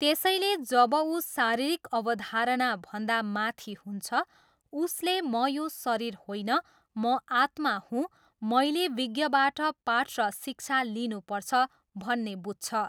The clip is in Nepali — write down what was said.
त्यसैले जब ऊ शारीरिक अवधारणाभन्दा माथि हुन्छ, उसले म यो शरीर होइन म आत्मा हुँ, मैले विज्ञबाट पाठ र शिक्षा लिनुपर्छ, भन्ने बुझ्छ।